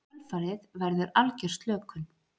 Í kjölfarið verður algjör slökun.